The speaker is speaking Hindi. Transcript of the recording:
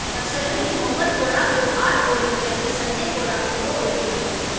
नक्सलियों ने मोगल कोड़ा को आठ गोली जबकि संजय कोड़ा को दो गोली मारी है